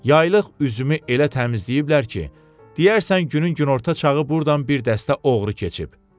Yaylıq üzümü elə təmizləyiblər ki, deyərsən günün günorta çağı burdan bir dəstə oğru keçib.